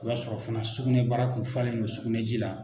O y'a sɔrɔ fana sugunɛbara k'u falen bɛ sugunɛji la